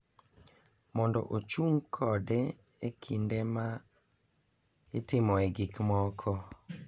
mondo ‘ochung’ kode’ e kinde ma itimoe gik moko.